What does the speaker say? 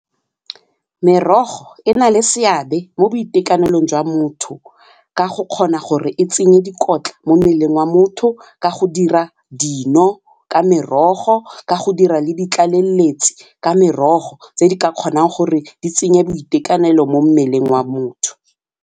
Merogo e na le seabe mo boitekanelong jwa motho ka go kgona gore e tsenya dikotla mo mmeleng wa motho ka go dira dino ka merogo, ka go dira le ditlaleletsi ka merogo tse di ka kgonang gore di tsenye boitekanelo mo mmeleng wa motho.